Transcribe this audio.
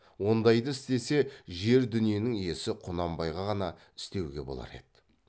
ондайды істесе жер дүниенің иесі құнанбай ғана істеуге болар еді